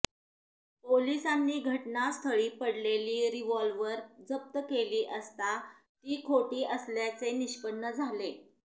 पोलिसांनी घटनास्थळी पडलेली रिव्हॉल्व्हर जप्त केली असता ती खोटी असल्याचे निष्पन्न झाले